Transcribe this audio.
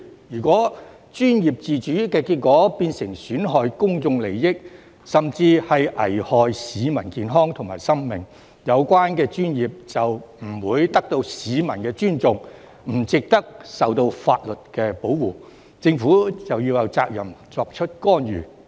如果專業自主的結果是損害公眾利益，甚至危害市民健康和生命，有關專業就不會得到市民尊重，不值得受到法律保護，政府有責任作出干預。